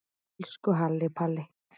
Elsku Halli Palli.